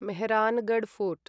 Mehrangarh fort